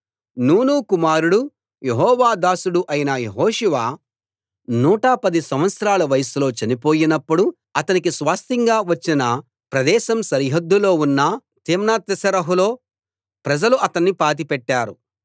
నూను కుమారుడు యెహోవా దాసుడు అయిన యెహోషువ నూట పది సంవత్సరాల వయస్సులో చనిపోయినప్పుడు అతనికి స్వాస్థ్యంగా వచ్చిన ప్రదేశం సరిహద్దులో ఉన్న తిమ్నత్సెరహులో ప్రజలు అతణ్ణి పాతిపెట్టారు